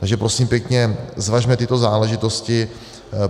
Takže prosím pěkně, zvažme tyto záležitosti.